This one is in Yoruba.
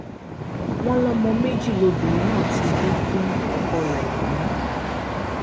wọn lọmọ méjì lobìnrin náà ti bí fún ọkọ rẹ yìí